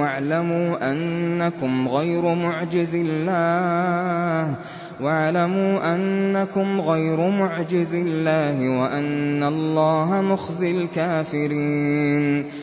وَاعْلَمُوا أَنَّكُمْ غَيْرُ مُعْجِزِي اللَّهِ ۙ وَأَنَّ اللَّهَ مُخْزِي الْكَافِرِينَ